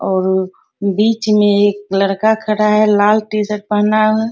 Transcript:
और अ बीच में एक लड़का खड़ा है लाल टी-शर्ट पहना है।